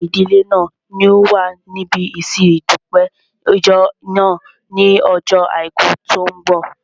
Gbogbo ìdílé náà ni yóò wà níbi ìsin ìdúpẹ́ ìjọ náà ní ojó àìkú tó n bọ̀